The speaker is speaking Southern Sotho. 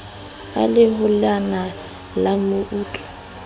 a le holena la meutlwa